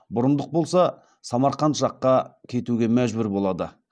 бұрындық болса самарқан жаққа кетуге мәжбүр болады